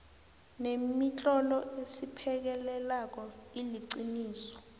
nemitlolo esiphekelelako iliqiniso